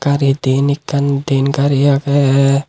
ar eh diyen ekkan diyen gari agey.